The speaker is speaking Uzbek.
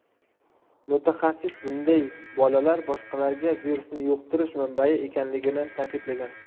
Mutaxassis bunday bolalar boshqalarga virusni yuqtirish manbai ekanligini ta’kidlagan.